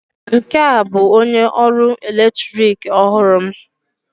Nke a bụ onye ọrụ eletrik ọhụrụ m